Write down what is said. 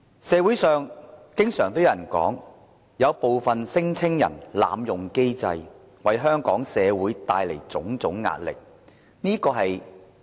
社會上經常有人說，部分聲請人濫用機制，為香港社會帶來種種壓力。